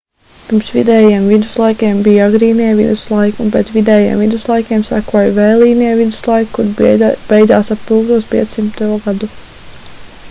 pirms vidējiem viduslaikiem bija agrīnie viduslaiki un pēc vidējiem viduslaikiem sekoja vēlīnie viduslaiki kuri beidzas ap 1500. gadu